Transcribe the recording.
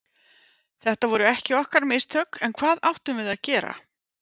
Þetta voru ekki okkar mistök, en hvað áttum við að gera?